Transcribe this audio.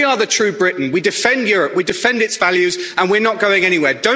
We are the true Britain, we defend Europe, we defend its values and we're not going anywhere.